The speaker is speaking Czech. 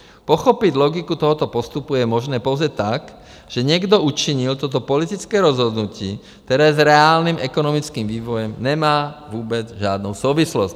Pochopit logiku tohoto postupu je možné pouze tak, že někdo učinil toto politické rozhodnutí, které s reálným ekonomickým vývojem nemá vůbec žádnou souvislost.